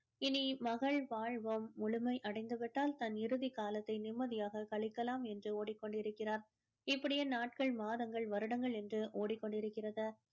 இனி மகள் வாழ்வும் முழுமை அடைந்து விட்டால் தன் இறுதி காலத்தை நிம்மதியாக கழிக்கலாம் என்று ஓடிக்கொண்டிருக்கிறார் இப்படியே நாட்கள் மாதங்கள் வருடங்கள் என்று ஓடிக்கொண்டிருக்கிறது